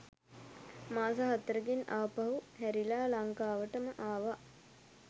මාස හතරකින් ආපහු හැරිලා ලංකාවටම ආවා.